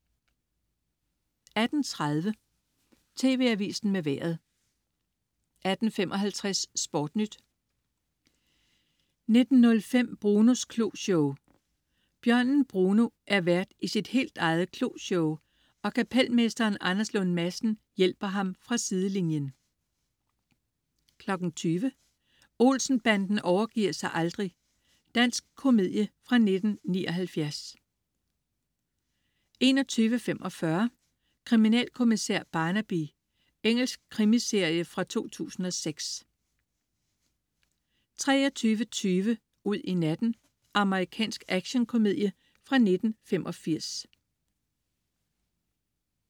18.30 TV Avisen med Vejret 18.55 SportNyt 19.05 Brunos Kloshow. Bjørnen Bruno er vært i sit helt eget kloshow, og kapelmesteren Anders Lund Madsen hjælper ham fra sidelinjen 20.00 Olsen-banden overgiver sig aldrig. Dansk komedie fra 1979 21.45 Kriminalkommissær Barnaby. Engelsk krimiserie fra 2006 23.20 Ud i natten. Amerikansk actionkomedie fra 1985